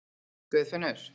Guðfinnur